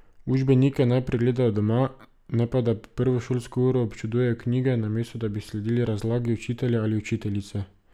Učbenike naj pregledajo doma, ne pa da prvo šolsko uro občudujejo knjige, namesto da bi sledili razlagi učitelja ali učiteljice.